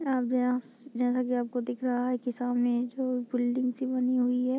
याव्याश जैसा की आपको दिख रहा है कि सामने जो बिल्डिंग सी बनी हुई है।